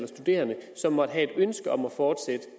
studerende som måtte have et ønske om at fortsætte